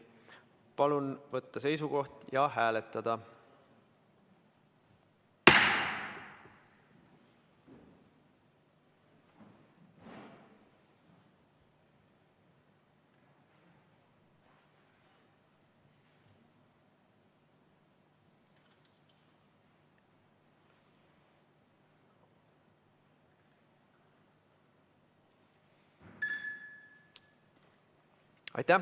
Palun võtta seisukoht ja hääletada!